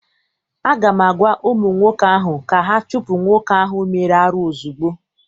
Aga m agwa ụmụ nwoke ahụ ka ha chụpụ nwoke ahụ mere arụ ozugbo!